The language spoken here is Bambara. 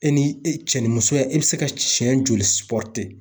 E ni e cɛnimusoya e bi se ka siɲɛ joli